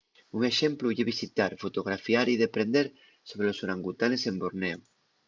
un exemplu ye visitar fotografiar y deprender sobre los orangutanes en borneo